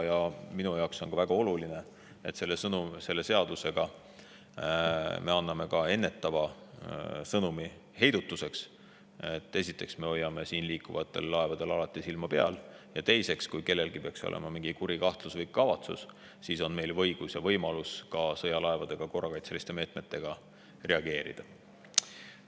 Minu jaoks on väga oluline, et me anname selle seadusega ka ennetava sõnumi heidutuseks: esiteks, me hoiame siin liikuvatel laevadel alati silma peal, ja teiseks, kui kellelgi peaks olema mingi kuri kavatsus, siis on meil õigus ja võimalus sõjalaevadega korrakaitseliste meetmetega reageerida.